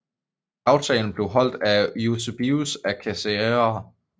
Gravtalen blev holdt af Eusebius af Caesarea